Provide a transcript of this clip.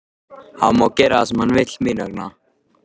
Hann má gera það sem hann vill mín vegna.